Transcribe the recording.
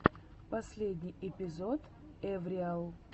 последний эпизод эвриал